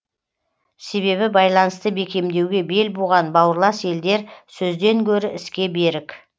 себебі байланысты бекемдеуге бел буған бауырлас елдер сөзден гөрі іске берік